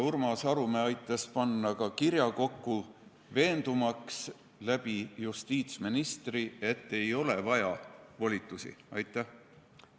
Urmas Arumäe aitas panna ka kirja kokku, veendumaks justiitsministri abil, et volitusi ei ole vaja.